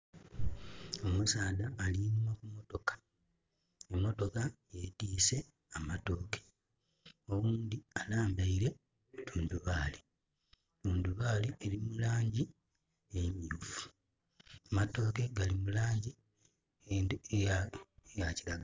Omusaadha ali nhuma ku mmotoka. Emotoka yetise amatooke owundi alambaire ku tundubali. Tundubali eri mulangi emyufu amatooke gali mulangi eya kiragala